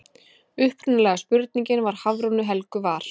Upprunalega spurningin frá Hafrúnu Helgu var: